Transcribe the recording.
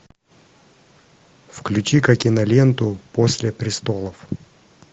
включи ка киноленту после престолов